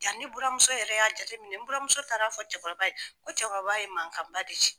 Yanni buramuso yɛrɛ y'a jateminɛ, n buramuso taara fɔ cɛkɔrɔba ye, fo cɛkɔrɔba ye mankan ba de ci.